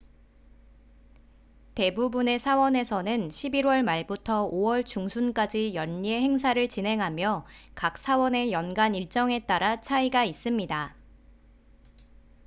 대부분의 사원에서는 11월 말부터 5월 중순까지 연례 행사를 진행하며 각 사원의 연간 일정에 따라 차이가 있습니다